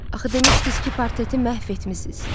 Axı demişdiz ki, portreti məhv etmisiz.